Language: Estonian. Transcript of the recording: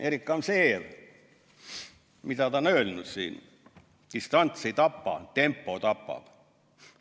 Erik Gamzejev, mida ta on öelnud: "Distants ei tapa, tempo tapab.